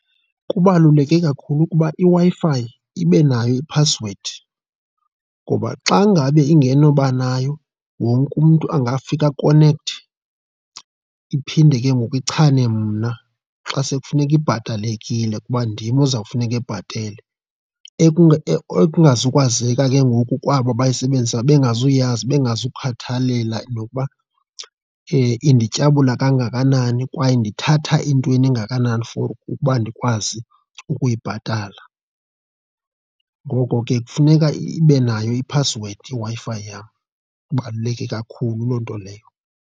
Kubaluleke kakhulu ukuba iWi-Fi ibe nayo iphasiwedi ngoba xa ngabe ingenoba nayo, wonke umntu angafika akonekthe. Iphinde ke ngoku ichane mna xa sekufuneka ibhatalekile kuba ndim oza kufuneka ebhatele, ekungazukwazeka ke ngoku kwabo abayisebenzisayo bengazi kuyazi bengazukhathalela nokuba indityabula kangakanani kwaye ndithatha intweni engakanani for ukuba ndikwazi ukuyibhatala. Ngoko ke kufuneka ibe nayo iphasiwedi iWi-Fi yam, ibaluleke kakhulu loo nto leyo.